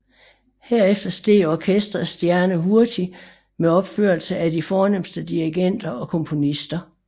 Herefter steg orkestrets stjerne hurtigt med opførelser af de fornemste dirigenter og komponister